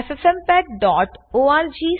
httpffmpegorg